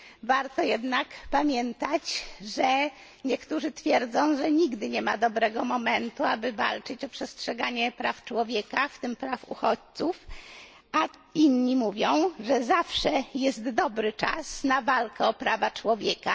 Warto jednak pamiętać, że niektórzy twierdzą, że nigdy nie ma dobrego momentu, aby walczyć o przestrzeganie praw człowieka, w tym praw uchodźców, a inni mówią, że zawsze jest dobry czas na walkę o prawa człowieka.